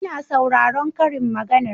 Ina sauraron karin maganar